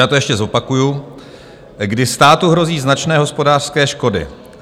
Já to ještě zopakuji: kdy státu hrozí značné hospodářské škody.